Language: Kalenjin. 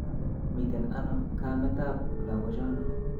Miten ano ka'met tap lakochono